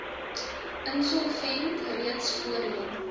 insolvent reeds voorheen